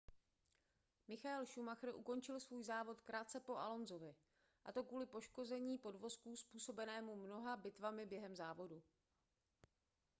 michael schumacher ukončil svůj závod krátce po alonsovi a to kvůli poškození podvozku způsobenému mnoha bitvami během závodu